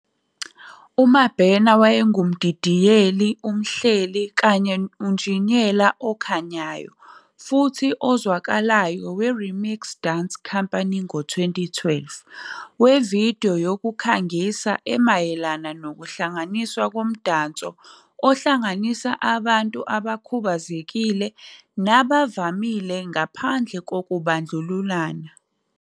UMabena wayengumdidiyeli, umhleli, unjiniyela okhanyayo futhi ozwakalayo we-Remix Dance Company ngo-2011 wevidiyo yokukhangisa emayelana nokuhlanganiswa komdanso ohlanganisa abantu abakhubazekile nabavamile ngaphandle kokubandlululana.